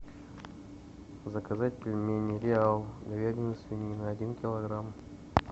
заказать пельмени реал говядина свинина один килограмм